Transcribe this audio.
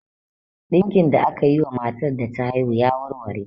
Ɗinkin da akayi wa matar da ta haihu ya warware.